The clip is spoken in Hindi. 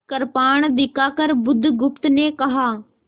कृपाण दिखाकर बुधगुप्त ने कहा